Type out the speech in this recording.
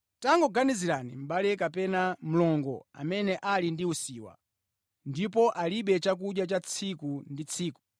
Tangoganizirani, mʼbale kapena mlongo amene ali ndi usiwa, ndipo alibe chakudya cha tsiku ndi tsiku.